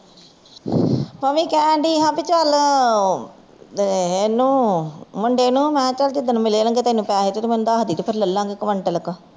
ਮੈਂ ਵੀ ਕਹਿਨ ਡਈ ਚਲ ਇਹਨੂੰ ਮੁੰਡੇ ਨੂੰ ਮਹ ਜਿਸ ਦਿਨ ਮਿਲਣ ਗੈ ਤੈਨੂੰ ਪੈਸੇ ਤੇ ਮੈਨੂੰ ਦਸ ਦਾਵੀ ਫੇਰ ਲੈ ਲਵਾਂਗੇ ਕਵਿੰਟਲ ਕ